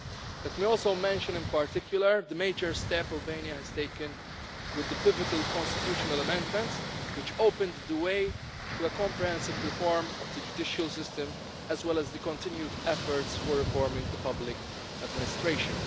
Let me also mention, in particular, the major step Albania has taken with the pivotal constitutional amendments which opened the way to a comprehensive reform of the judicial system, as well as the continued efforts for reforming the public administration.